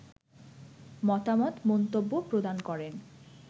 মতামত, মন্তব্য প্রদান করেন